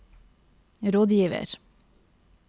rådgiver